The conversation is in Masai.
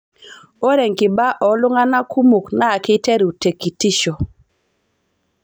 Ore enkiba ooltung'ana kumok naa keiteru tekitisho.